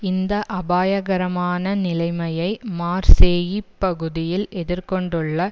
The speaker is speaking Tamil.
இந்த அபயாகரமான நிலைமையை மார்சேயிப் பகுதியில் எதிர் கொண்டுள்ள